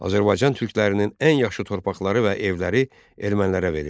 Azərbaycan türklərinin ən yaxşı torpaqları və evləri ermənilərə verildi.